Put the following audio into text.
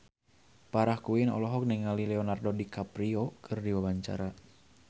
Farah Quinn olohok ningali Leonardo DiCaprio keur diwawancara